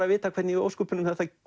að vita hvernig í ósköpunum þetta